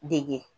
Dege